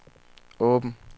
åben